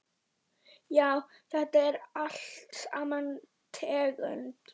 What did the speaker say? Já, þetta er allt sama tegund.